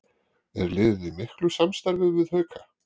Er liðið í miklu samstarfi við Hauka?